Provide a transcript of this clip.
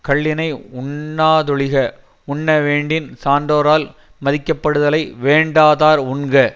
கள்ளினை உண்ணா தொழிக உண்ணவேண்டின் சான்றோரால் மதிக்கப்படுதலை வேண்டாதார் உண்க